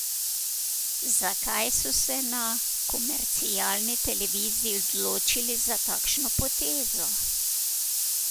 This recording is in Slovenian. Zakaj so se na komercialni televiziji odločili za takšno potezo?